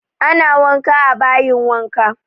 Ana wanka a bayin wanka